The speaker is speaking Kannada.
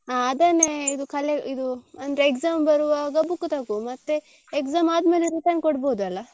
ಹಾ ಅದನ್ನೇ ಇದು ಕಲೆ ಇದು ಅಂದ್ರೆ exam ಬರುವಾಗ book ತಗೊ ಮತ್ತೆ exam ಆದ್ಮೇಲೆ return ಕೊಡಬೋದಲ್ಲ.